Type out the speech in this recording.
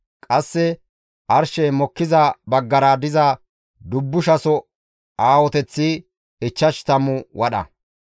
Qasse arshey mokkiza baggara diza dubbushaso aahoteththi ichchash tammu wadha.